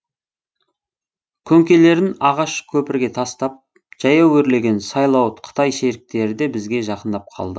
көңкелерін ағаш көпірге тастап жаяу өрлеген сайлауыт қытай шеріктері де бізге жақындап қалды